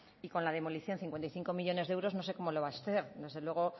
y con la demolición cincuenta y cinco millónes de euros no sé cómo lo va a hacer desde luego